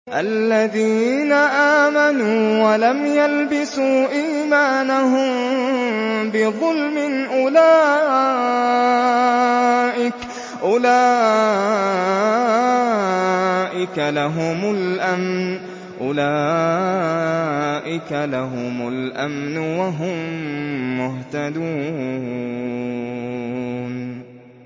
الَّذِينَ آمَنُوا وَلَمْ يَلْبِسُوا إِيمَانَهُم بِظُلْمٍ أُولَٰئِكَ لَهُمُ الْأَمْنُ وَهُم مُّهْتَدُونَ